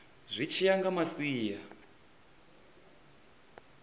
zwi tshi ya nga masia